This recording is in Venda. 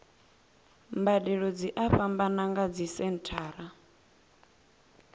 mbadelo dzi a fhambana nga dzisenthara